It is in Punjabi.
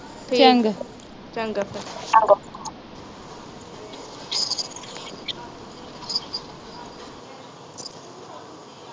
ਠੀਕ ਆ ਚੰਗਾ ਫਿਰ